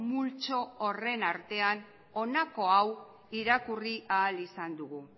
multzo horren artean honako hau irakurri ahal izan dugu